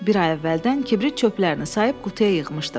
Bir ay əvvəldən kibrit çöplərini sayıp qutuya yığmışdım.